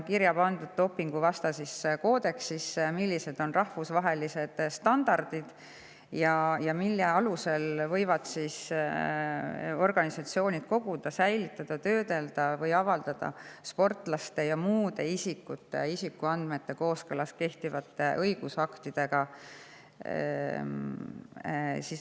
Dopinguvastases koodeksis on kirjas rahvusvahelised standardid, mille alusel võivad organisatsioonid koguda, säilitada, töödelda ja avalikustada sportlaste ja muude isikute isikuandmeid kooskõlas kehtivate õigusaktidega.